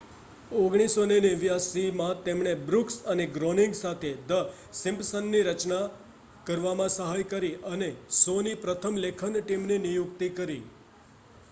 1989માં તેમણે બ્રૂક્સ અને ગ્રોનિંગ સાથે ધ સિમ્પ્સન્સની રચના કરવામાં સહાય કરી અને શોની પ્રથમ લેખન ટીમની નિયુક્તિ કરી